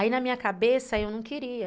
Aí na minha cabeça eu não queria.